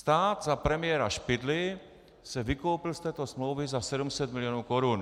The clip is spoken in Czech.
Stát za premiéra Špidly se vykoupil z této smlouvy za 700 mil. korun.